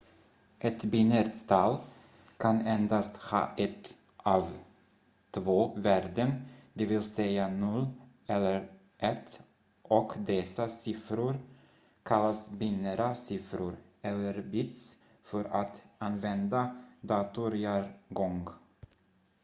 ett binärt tal kan endast ha ett av två värden dvs 0 eller 1 och dessa siffror kallas binära siffror eller bits för att använda datorjargong